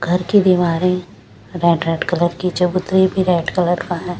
घर कीदीवारें red red colour की चबूतरी भी रेड कलर का है।